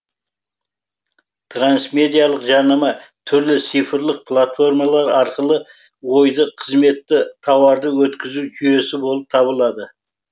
трансмедиалық жарнама түрлі цифрлық платформалар арқылы ойды қызметті тауарды өткізу жүйесі болып табылады